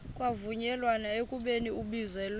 kwavunyelwana ekubeni ibizelwe